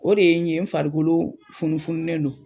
O de ye n ye n farikolo funufununen don